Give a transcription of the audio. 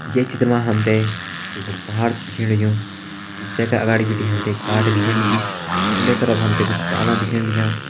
ये चित्र मा हम ते एक बड़ु पहाड़ छ दिखेण लग्युं जै का अगाड़ी बिटि हम ते एक काट दिखेण लगीं उंडे तरफ हम ते कुछ डाला दिखेण लग्यां।